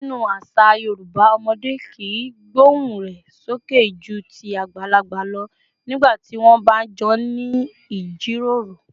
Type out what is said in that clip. Nínú àṣà Yorùbá, ọmọdé kìí gbóhùn rẹ̀ sókè ju ti àgbàlagbà lọ nígbà tí wọ́n bá jọ ń ní ìjíròrò